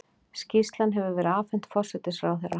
Skýrslan hefur verið afhent forsætisráðherra